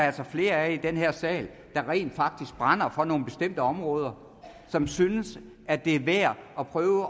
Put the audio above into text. altså flere af i den her sal der rent faktisk brænder for nogle bestemte områder og som synes at det er værd at prøve